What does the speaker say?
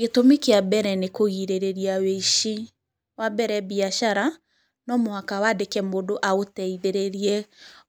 Gĩtũmi kia mbere nĩ kũgirĩrĩria wũici. Wambere mbiacara nomũhaka wandĩke mũndũ agũteithĩrĩrie